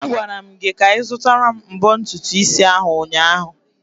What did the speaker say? Agwara m gị ka ị zụtara m mbọ ntutu isi ahụ ụnyaahụ!